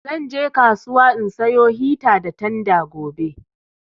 Zan je kasuwa in sayo hita da tanda gobe